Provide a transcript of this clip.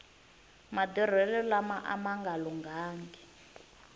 madurhelo lama ama lunghangi